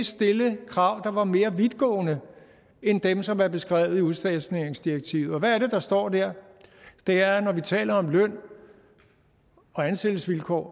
stille krav der var mere vidtgående end dem som er beskrevet i udstationeringsdirektivet og hvad er det der står der det er at når vi taler om løn og ansættelsesvilkår